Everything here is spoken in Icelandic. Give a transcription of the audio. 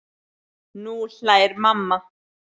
Nú hlær mamma.